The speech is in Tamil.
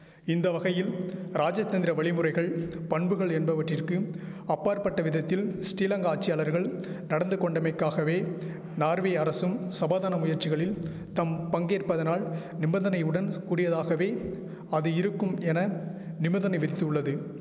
இந்த வகையில் ராஜதந்திர வழிமுறைகள் பண்புகள் என்பவவற்றிற்கு அப்பாற்பட்டவிதத்தில் ஸ்ரீலங்கா ஆட்சியாளர்கள் நடந்துகொண்டமைக்காகவே நார்வே அரசும் சபாதான முயற்சிகளில் தம் பங்கேற்பதனால் நிபந்தனையுடன் கூடியதாகவே அது இருக்கும் என நிபந்தனை விரித்துள்ளது